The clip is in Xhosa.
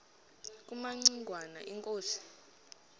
kumaci ngwana inkosi